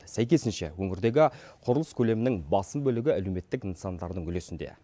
сәйкесінше өңірдегі құрылыс көлемінің басым бөлігі әлеуметтік нысандардың үлесінде